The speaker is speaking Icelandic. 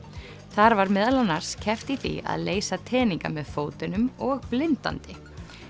þar var meðal annars keppt í því að leysa teninga með fótunum og blindandi